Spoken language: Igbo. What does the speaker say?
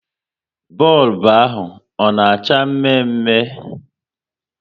Bọlbụ ahụ ọ na acha mme mme?